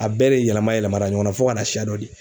A bɛɛ de yɛlɛma yɛlɛma la ɲɔgɔn na fo ka na siya dɔ di.